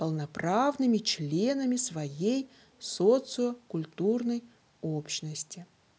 полноправными членами своей социокультурной общности